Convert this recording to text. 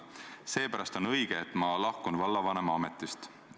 Seepärast on õige, et ma lahkun vallavanema ametist.